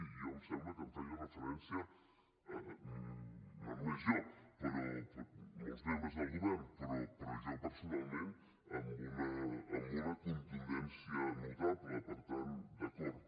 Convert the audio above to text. i jo em sembla que hi feia referència no només jo molts membres del govern però jo personalment amb una contundència notable per tant d’acord